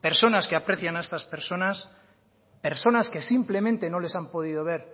personas que aprecian a estas personas personas que simplemente no les han podido ver